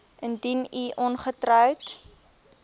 indien u ongetroud